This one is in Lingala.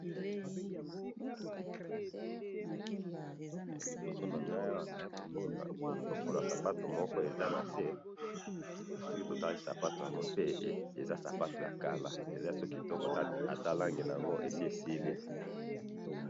liboso na ngayi awa naye komona lokosa sapatu moko eza nase, soki totali kitoka eza sapato ya kala ata llengi nango esi esili